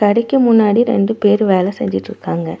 கடைக்கு முன்னாடி ரெண்டு பேர் வேல செஞ்சிட்ருக்காங்க.